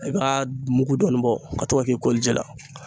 I ba mugu dɔɔni bɔ ka to ka k'i kɔli ji la.